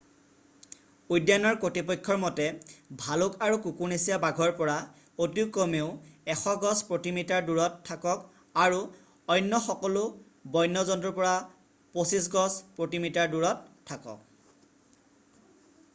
উদ্যানৰ কৰ্তৃপক্ষৰ মতে ভালুক আৰু কুকুৰনেচীয়া বাঘৰ পৰা অতি কমেও 100 গজ/মিটাৰ দূৰত থাকক আৰু অন্য সকলো বন্য জন্তুৰ পৰা 25 গজ/মিটাৰ দূৰত থাকক!